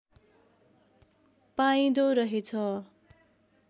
पाइँदो रहेछ